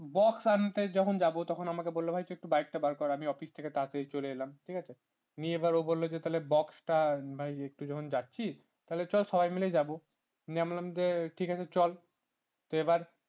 box আনতে যাব তখন আমাকে বলল ভাই তুই একটু bike বার কর আমি office থেকে তাড়াতাড়ি চলে এলাম ঠিক আছে আমি এবার ও বলল যে তাহলে box টা মানে একটু যখন যাচ্ছিস তাহলে চল সবাই মিলে যাবো নিয়ে আমি বললাম যে ঠিক আছে চল তো এবার